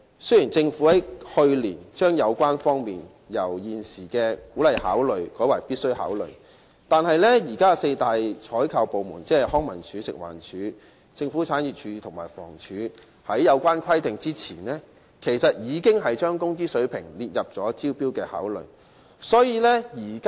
雖然政府在去年將有關因素由現時的"鼓勵考慮"改為"必須考慮"，但修改此規定前，現時的四大採購部門，即康樂及文化事務署、食物環境衞生署、政府產業署和房屋署，其實已將工資水平列入招標的考慮因素。